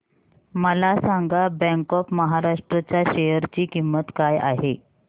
मला सांगा bank of Maharashtra च्या शेअर ची किंमत काय आहे